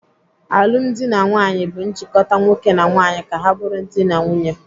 Alụmdi na nwaanyị bụ njikota nwoke na nwaanyị ka ha bụrụ dị na nwunye.